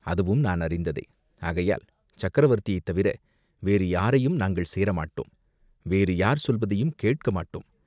"அதுவும் நான் அறிந்ததே." "ஆகையால் சக்கரவர்த்தியைத் தவிர வேறு யாரையும் நாங்கள் சேரமாட்டோம், வேறு யார் சொல்வதையும் கேட்கமாட்டோம்."